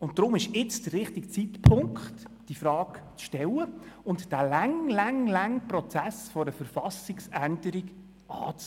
Deshalb ist jetzt der richtige Zeitpunkt, diese Frage zu stellen und den langen, langen, langen Prozess einer Verfassungsänderung anzugehen.